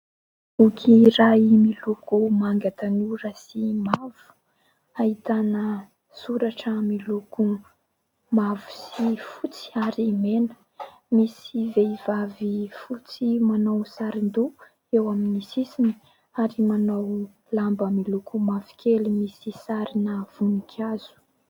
Boky iray miloko manga tanora sy mavo ahitana soratra miloko mavo sy fotsy ary mena. Misy vehivavy fotsy manao saron-doha eo amin'ny sisiny ary manao lamba miloko mavokely misy sarina voninkazo.